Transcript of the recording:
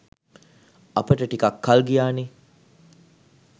අපට ටිකක් කල් ගියානේ.